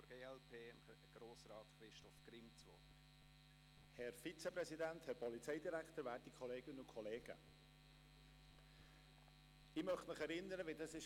Ich möchte Sie daran erinnern, wie es bei der Sportstrategie abgelaufen ist.